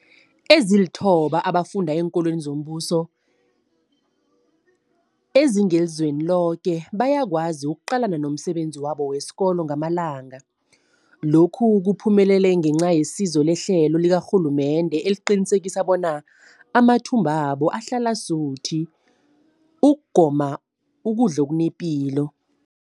Ezilithoba abafunda eenkolweni zombuso ezingelizweni loke bayakwazi ukuqalana nomsebenzi wabo wesikolo wangamalanga. Lokhu kuphumelele ngenca yesizo lehlelo likarhulumende eliqinisekisa bona amathumbu wabo ahlala asuthi ukugoma okunepilo.